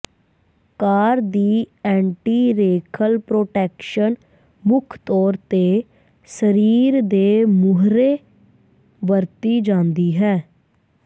ਕਾਰ ਦੀ ਐਂਟੀ ਰੇਖਲ ਪ੍ਰੋਟੈਕਸ਼ਨ ਮੁੱਖ ਤੌਰ ਤੇ ਸਰੀਰ ਦੇ ਮੂਹਰੇ ਵਰਤੀ ਜਾਂਦੀ ਹੈ